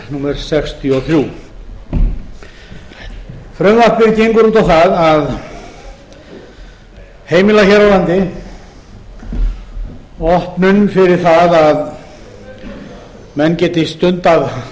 málsins sextíu og þrjú frumvarpið gengur út á það að heimila hér á landi opnun fyrir það að menn geti stundað